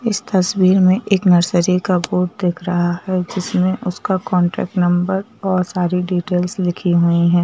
इस तस्वीर में एक नर्सरी का बोर्ड दिख रहा है जिसमें उसका कांटेक्ट नंबर और सारी डिटेल्स लिखी हुई हैं।